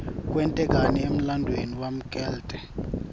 kwente kani emlanduuemi waklte